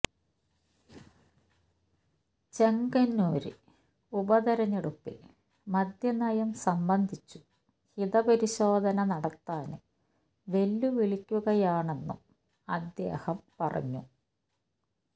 ചെങ്ങന്നൂര് ഉപതിരഞ്ഞെടുപ്പിൽ മദ്യനയം സംബന്ധിച്ചു ഹിതപരിശോധന നടത്താന് വെല്ലുവിളിക്കുകയാണെന്നും അദ്ദേഹം പറഞ്ഞു